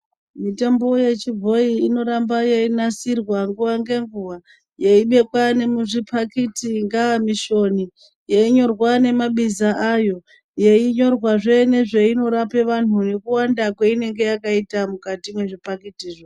Mitombo yechibhoyi inoramba yeyinasirwa nguva nenguva ,yeyibekwa munezvipakiti ngaamishoni ,yeyinyorwa ngemabizo ayo, yeyinyirwa zve nezvainorape vanhu nekuwanda kweinenge yakaita mukati mezvipakiti.